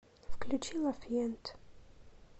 включи ла фьент